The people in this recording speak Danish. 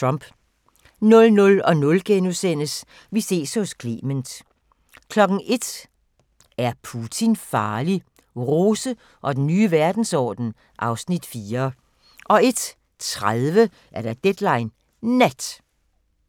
00:00: Vi ses hos Clement * 01:00: Er Putin farlig? – Rose og den nye verdensorden (Afs. 4) 01:30: Deadline Nat